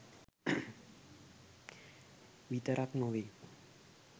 විතරක් නොවෙයි